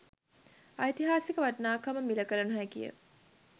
ඓතිහාසික වටිනාකම මිළ කළ නොහැකි ය